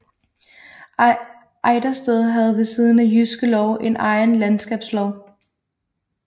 Ejdersted havde ved siden af Jyske Lov en egen landskabslov